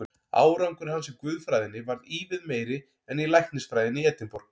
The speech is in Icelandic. Árangur hans í guðfræðinni varð ívið meiri en í læknisfræðinni í Edinborg.